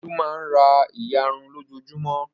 Olú máa ń ra ìyarun lójoojúmọ́.